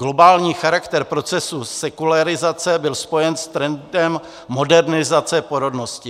Globální charakter procesu sekularizace byl spojen s trendem modernizace porodnosti.